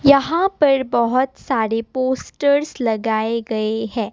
यहां पर बहुत सारे पोस्टर्स लगाए गए हैं।